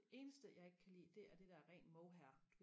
det eneste jeg ikke kan lide det er det der ren mohair